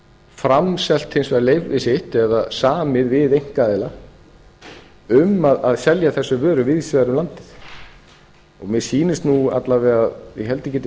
framselt hins vegar leyfi sitt eða samið við einkaaðila um að selja þessar vörur víðs vegar um landið mér sýnist nú alla vega ég held að ég geti